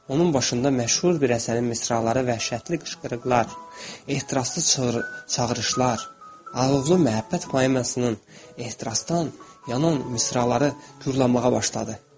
Onun başında məşhur bir əsərin misraları, vəhşətli qışqırıqlar, ehtiraslı çağırışlar, alovlu məhəbbət mərasiminin ehtirasdan yanan misraları gurulamağa başladı.